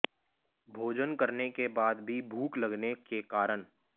भोजन करने के बाद भी भूख लगने के कारण